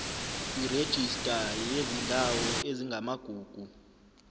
kwirejista yezindawo ezingamagugu